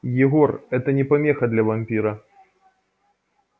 егор это не помеха для вампира